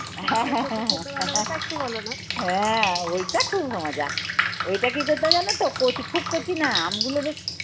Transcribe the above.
হ্যাঁ হ্যাঁ হ্যাঁ। ওইটা খুব মজা। ওইটা কি করতে হয় জানো তো কচি খুব কচি না আমগুলো বেশ